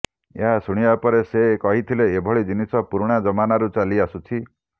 ଏହା ଶୁଣିବା ପରେ ସେ କହିଥିଲେ ଏଭଳି ଜିନିଷ ପୁରୁଣା ଜମାନାରୁ ଚାଲି ଆସୁଛି